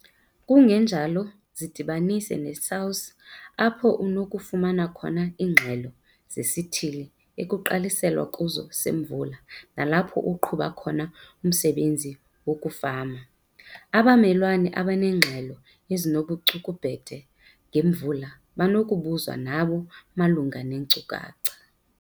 Kungenjalo zidibanise neSAWS apho unokufumana khona iingxelo zesithili ekugqaliselwe kuso semvula nalapho uqhuba khona umsebenzi wokufama. Abamelwane abaneengxelo ezinobucukubhede ngemvula banokubuzwa nabo malunga neenkcukacha.